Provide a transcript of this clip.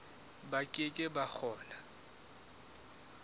ba ke ke ba kgona